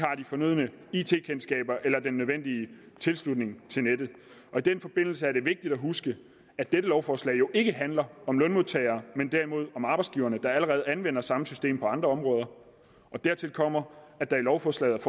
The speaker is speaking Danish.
fornødne it kundskaber eller den nødvendige tilslutning til nettet i den forbindelse er det vigtigt at huske at dette lovforslag jo ikke handler om lønmodtagere men derimod om arbejdsgiverne der allerede anvender samme system på andre områder dertil kommer at der i lovforslaget